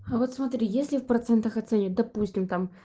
а вот смотри если в процентах оценит допустим там